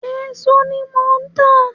Èso ní mo ń tà